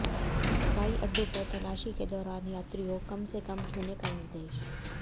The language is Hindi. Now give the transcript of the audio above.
हवाई अड्डों पर तलाशी के दौरान यात्रियों कम से कम छूने का निर्देश